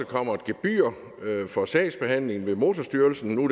kommer et gebyr for sagsbehandling ved motorstyrelsen